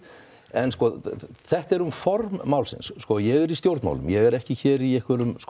en sko þetta er nú formaður málsins ég er í stjórnmálum ég er ekki hér í einhverjum